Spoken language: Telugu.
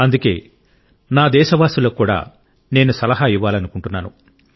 అందుకే నా దేశవాసులకు కూడా నేను సలహా ఇవ్వాలనుకుంటున్నాను